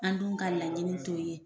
An dun ka laɲini t'o ye.